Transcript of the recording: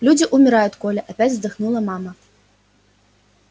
люди умирают коля опять вздохнула мама